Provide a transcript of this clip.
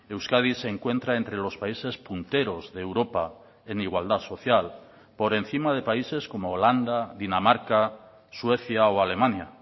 euskadi se encuentra entre los países punteros de europa en igualdad social por encima de países como holanda dinamarca suecia o alemania